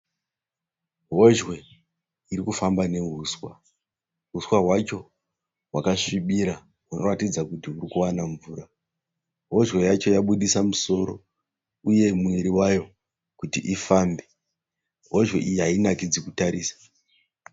Hozhwe iri kufamba nehuswa. Huswa hwacho hwakasvibira hunoratidza kuti huri kuwana mvura. Hozhwe yabudisa musoro uye muviri wayo kuti ikufamba. Hozhwe iyi hainakidzi kutarisa.